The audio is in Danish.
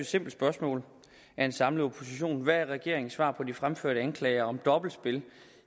simpelt spørgsmål af en samlet opposition hvad er regeringens svar på de fremførte anklager om dobbeltspil